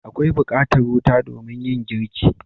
Akwai bukatar wuta domin yin girki.